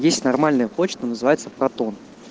есть нормальная почта называется протон